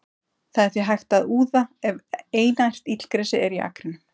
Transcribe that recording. Það er því hægt að úða ef einært illgresi er í akrinum.